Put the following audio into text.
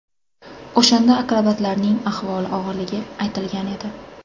O‘shanda akrobatlarning ahvoli og‘irligi aytilgan edi.